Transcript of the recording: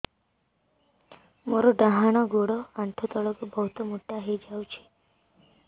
ମୋର ଡାହାଣ ଗୋଡ଼ ଆଣ୍ଠୁ ତଳକୁ ବହୁତ ମୋଟା ହେଇଯାଉଛି